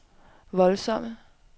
voldsomme